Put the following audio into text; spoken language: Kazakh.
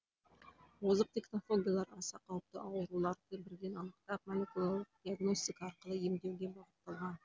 озық технологиялар аса қауіпті ауруларды бірден анықтап молекулярлық диагностика арқылы емдеуге бағытталған